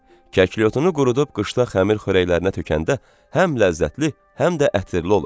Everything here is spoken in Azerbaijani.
Kəklikotunu qurudub qışda xəmir xörəklərinə tökəndə həm ləzzətli, həm də ətirli olur.